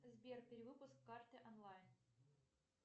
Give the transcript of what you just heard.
сбер перевыпуск карты онлайн